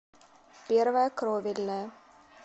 первая кровельная